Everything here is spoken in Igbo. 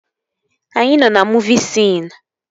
Anyị nọ na muuvi siin